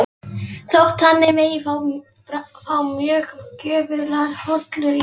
Þótt þannig megi fá mjög gjöfular holur í